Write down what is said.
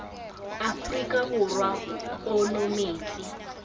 afrika borwa motswedi ono metsi